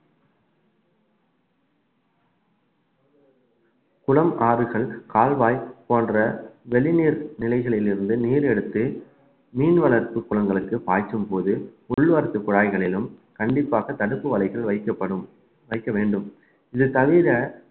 குளம், ஆறுகள், கால்வாய் போன்ற வெளி நீர்நிலைகளில் இருந்து நீர் எடுத்து மீன் வளர்ப்பு குளங்களுக்கு பாய்ச்சும்போது உள் வரத்துக் குழாய்களிலும் கண்டிப்பாக தடுப்பு வலைகள் வைக்கப்படும் வைக்க வேண்டும் இது தவிர